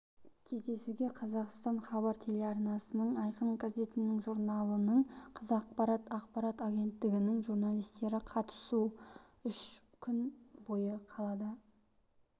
кездесуге қазақстан хабар телеарналарының айқын газетінің журналының қазақпарат ақпарат агенттігінің журналистері қатысты үш күн бойы қалада